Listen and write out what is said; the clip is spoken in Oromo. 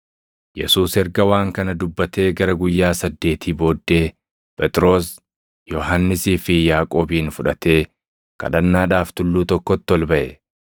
Yesuus erga waan kana dubbatee gara guyyaa saddeetii booddee Phexros, Yohannisii fi Yaaqoobin fudhatee kadhannaadhaaf tulluu tokkotti ol baʼe.